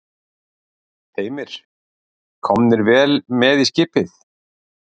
Heimir: Komnir vel með í skipið?